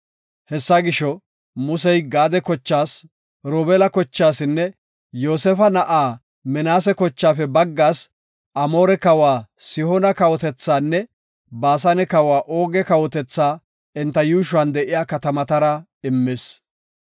Hessa gisho, Musey Gaade kochaas, Robeela kochaasinne Yoosefa na7aa Minaase kochaafe baggaas Amoore kawa Sihoona kawotethaanne Baasane kawa Ooge kawotethaa enta yuushuwan de7iya katamatara immis.